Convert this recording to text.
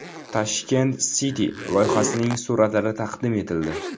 Tashkent City loyihasining suratlari taqdim etildi .